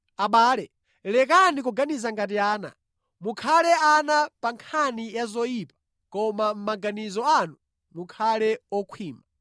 Abale, lekani kuganiza ngati ana. Mukhale ana pa nkhani ya zoyipa koma mʼmaganizo anu mukhale okhwima.